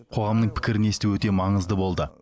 қоғамның пікірін есту өте маңызды болды